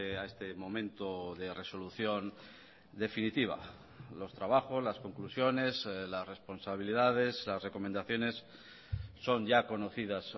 a este momento de resolución definitiva los trabajos las conclusiones las responsabilidades las recomendaciones son ya conocidas